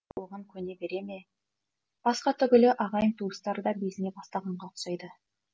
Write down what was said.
оған көне бере ме басқа түгілі ағайын туыстары да безіне бастағанға ұқсайды